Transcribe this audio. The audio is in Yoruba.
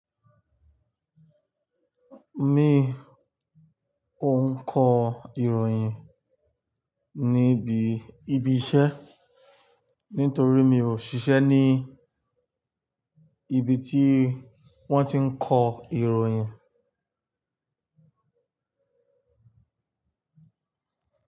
Mi ò ń kọ ìròyìn níbi ibi iṣẹ́ nítorí mi ò ṣiṣẹ́ ní ibi tí wón ti ń kọ ìròyìn.